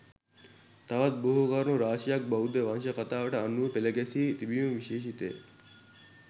තවත් බොහෝ කරුණු රාශියක් බෞද්ධ වංශ කතාවට අනුව පෙළ ගැසී තිබීම විශේෂිතය.